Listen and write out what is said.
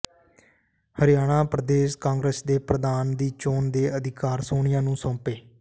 ਹਰਿਆਣਾ ਪ੍ਰਦੇਸ਼ ਕਾਂਗਰਸ ਦੇ ਪ੍ਰਧਾਨ ਦੀ ਚੋਣ ਦੇ ਅਧਿਕਾਰ ਸੋਨੀਆ ਨੂੰ ਸੌਂਪੇ